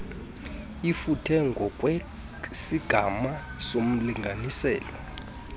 ifuthe ngokwesigama somlinganiselo